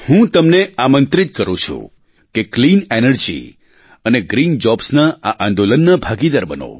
હું તમને આમંત્રિત કરું છું કે ક્લીન એનર્જી એન્ડ ગ્રીન jobsના આ આંદોલનના ભાગીદાર બનો